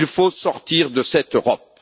Il faut sortir de cette Europe.